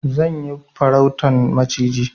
Zan yi farautan maciji.